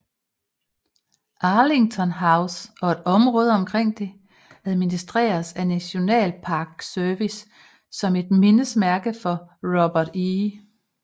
Arlington House og området omkring det administreres af National Park Service som et mindesmærke for Robert E